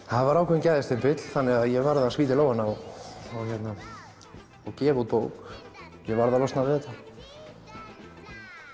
það var ákveðinn gæðastimpill þannig að ég varð að spýta í lófana og og gefa út bók ég varð losna við þetta